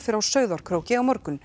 á Sauðárkróki á morgun